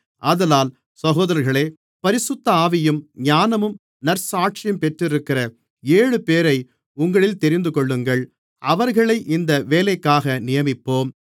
ஆதலால் சகோதரர்களே பரிசுத்த ஆவியும் ஞானமும் நற்சாட்சியும் பெற்றிருக்கிற ஏழுபேரை உங்களில் தெரிந்துகொள்ளுங்கள் அவர்களை இந்த வேலைக்காக நியமிப்போம்